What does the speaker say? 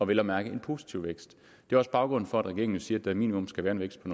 vel at mærke en positiv vækst det er også baggrunden for at regeringen siger at der minimum skal være en vækst på